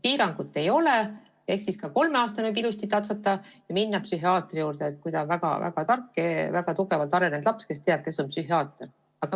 Piirangut ei ole, nii et ka kolmeaastane võib ilusti psühhiaatri juurde tatsata, kui ta on väga-väga tark ja tugevalt arenenud laps, kes teab, kes on psühhiaater.